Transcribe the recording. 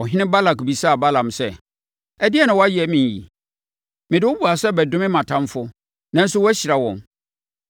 Ɔhene Balak bisaa Balaam sɛ, “Ɛdeɛn na woayɛ me yi? Mede wo baa sɛ bɛdome mʼatamfoɔ, nanso woahyira wɔn!”